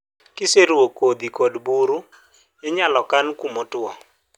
kiseruo kothi kod buru, inyalo kan gi kuma otuo